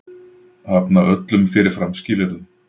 Hafna öllum fyrirfram skilyrðum